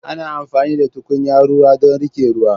Ana amfani da tukunya ruwa don riƙe ruwa.